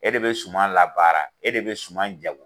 E de bɛ suma labaara e de bɛ suma jago